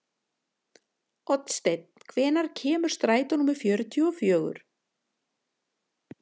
Oddsteinn, hvenær kemur strætó númer fjörutíu og fjögur?